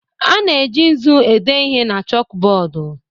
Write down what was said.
A na-eji nzu ede ihe na chọkụbọdụ